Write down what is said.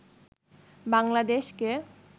বাংলাদেশকে